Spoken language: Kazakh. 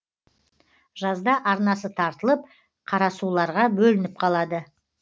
жазда арнасы тартылып қарасуларға бөлініп қалады